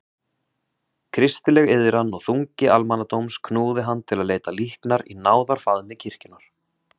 Kristileg iðran og þungi almannadóms knúði hann til að leita líknar í náðarfaðmi kirkjunnar.